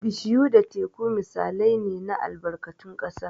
Bishiyu da Teku misalai ne na albarkatun ƙasa.